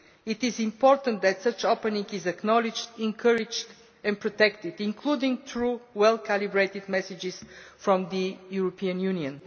It is important that such an opening is acknowledged, encouraged and protected, including through well calibrated messages from the European Union.